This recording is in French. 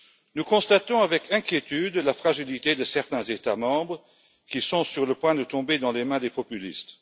Nous constatons avec inquiétude la fragilité de certains États membres qui sont sur le point de tomber entre les mains des populistes.